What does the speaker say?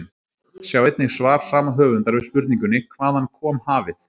Sjá einnig svar sama höfundar við spurningunni Hvaðan kom hafið?